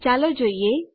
ચાલો જોઈએ